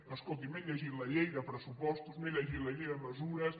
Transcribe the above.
no escolti m’he llegit la llei de pressupostos m’he llegit la llei de mesures